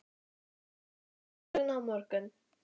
Þú segir okkur ferðasöguna á morgun